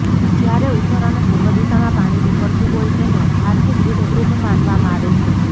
જ્યારે ઉત્તર અને પૂર્વ દિશામાં પાણી નીકળતું હોય તેને આર્થિક રીતે શુભ માનવામાં આવે છે